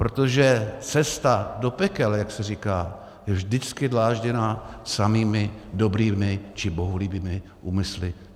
Protože cesta do pekel, jak se říká, je vždycky dlážděná samými dobrými či bohulibými úmysly.